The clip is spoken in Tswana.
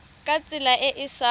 ka tsela e e sa